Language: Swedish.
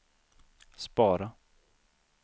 spara